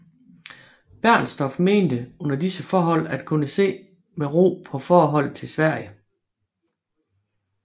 Bernstorff mente under disse forhold at kunne se med ro på forholdet til Sverige